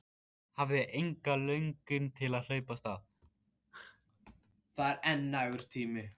Hafði enga löngun til að hlaupa af stað.